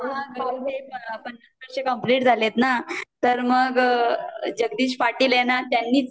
हा हा वर्ष कंप्लीट झालेत न तर मग जगदीश पाटील आहेत न त्यांनीच